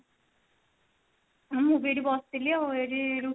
ମୁଁ ବି ଏଠି ବସିଥିଲି ଆଉ ଏଠି ରୁଟି ଭଜା